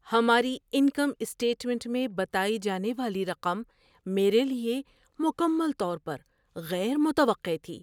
ہماری income statement میں بتائی جانے والی رقم میرے لیے مکمل طور پر غیر متوقع تھی۔